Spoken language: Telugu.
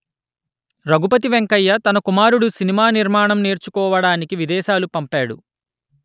రఘుపతి వెంకయ్య తన కుమారుడు సినిమా నిర్మాణం నేర్చుకోవడానికి విదేశాలు పంపాడు